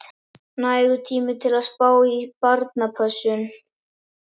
Nægur tími til að spá í barnapössun.